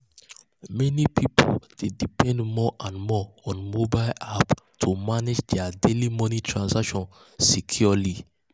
meni pipul dey depend more and more on mobile on mobile apps to manage dia daily moni transactions securely.